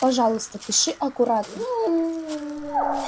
пожалуйста пиши аккуратно